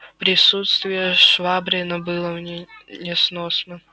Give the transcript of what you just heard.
присутствие швабрина было мне несносно